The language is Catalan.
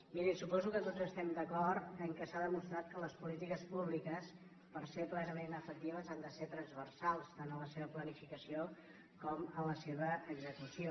mirin suposo que tots estem d’acord en el fet que s’ha demostrat que les polítiques públiques per ser plena·ment efectives han de ser transversals tant en la seva planificació com en la seva execució